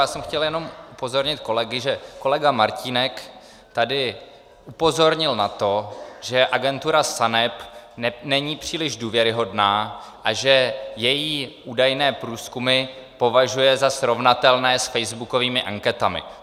Já jsem chtěl jenom upozornit kolegy, že kolega Martínek tady upozornil na to, že agentura SANEP není příliš důvěryhodná a že její údajné průzkumy považuje za srovnatelné s facebookovými anketami.